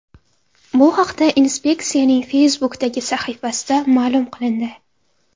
Bu haqda inspeksiyaning Facebook’dagi sahifasida ma’lum qilindi .